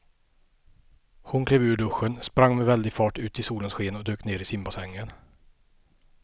Hon klev ur duschen, sprang med väldig fart ut i solens sken och dök ner i simbassängen.